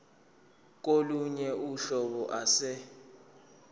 kolunye uhlobo ase